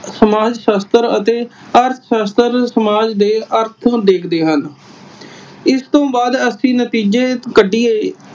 ਸਮਾਜ ਸ਼ਾਸਤਰ ਅਤੇ ਅਰਥ ਸ਼ਾਸਤਰ ਸਮਾਜ ਦੇ ਅਰਥ ਦੇਖਦੇ ਹਨ। ਇਸ ਤੋਂ ਬਾਅਦ ਅਸੀਂ ਨਤੀਜੇ ਕੱਢੀਏ